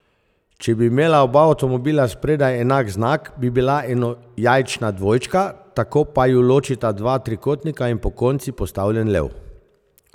Če bi imela oba avtomobila spredaj enak znak, bi bila enojajčna dvojčka, tako pa ju ločita dva trikotnika in pokonci postavljen lev.